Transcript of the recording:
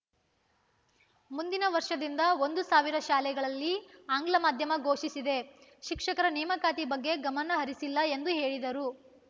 ಮುಂದಿನ ವರ್ಷದಿಂದ ಒಂದು ಸಾವಿರ ಶಾಲೆಗಳಲ್ಲಿ ಆಂಗ್ಲ ಮಾಧ್ಯಮ ಘೋಷಿಸಿದೆ ಶಿಕ್ಷಕರ ನೇಮಕಾತಿ ಬಗ್ಗೆ ಗಮನ ಹರಿಸಿಲ್ಲ ಎಂದು ಹೇಳಿದರು